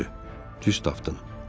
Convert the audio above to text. Düz tapdın.